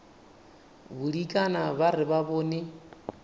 bodikana ba re ba bone